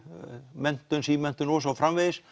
menntun símenntun og svo framvegis